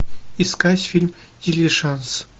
искать фильм дилижанс